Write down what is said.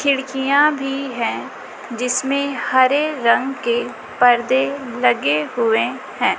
खिड़कियां भी हैं जिसमें हरे रंग के परदे लगे हुएं हैं।